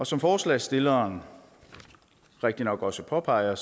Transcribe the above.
som forslagsstilleren rigtignok også påpeger